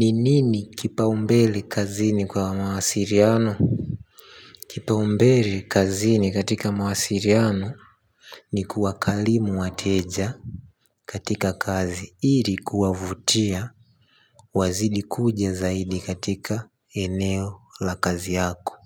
Ni nini kipaumbeli kazini kwa mawasiliano? Kipaumbeli kazini katika mawasiliano. Ni kuwa karimu wateja katika kazi ili kuwavutia wazidi kuja zaidi katika eneo la kazi yako.